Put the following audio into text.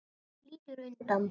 Hún lítur undan.